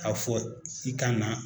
K'a fɔ i ka na.